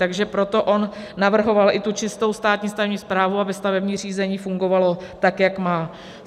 Takže proto on navrhoval i tu čistou státní stavební správu, aby stavební řízení fungovalo tak, jak má.